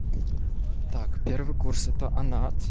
так первый курс это анад